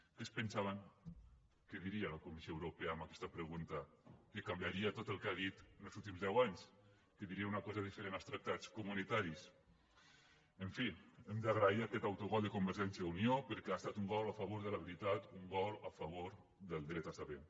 què es pensaven que diria la comissió europea amb aquesta pregunta que canviaria tot el que ha dit en els últims deu anys que diria una cosa diferent dels tractats comunitaris en fi hem d’agrair aquest autogol de convergència i unió perquè ha estat un gol a favor de la veritat un gol a favor del dret a saber